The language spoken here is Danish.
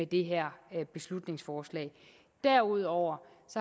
det her beslutningsforslag derudover